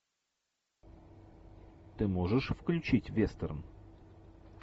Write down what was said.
ты можешь включить вестерн